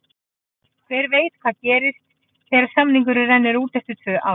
Hver veit hvað gerist þegar samningurinn rennur út eftir tvö ár?